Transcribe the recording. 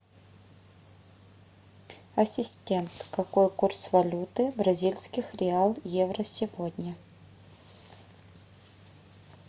ассистент какой курс валюты бразильских реал евро сегодня